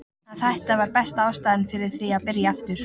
Að hætta var besta ástæðan fyrir því að byrja aftur.